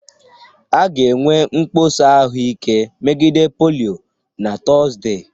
A ga-enwe mkpọsa ahụike megide polio na Tọzdee